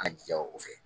An jija o fɛ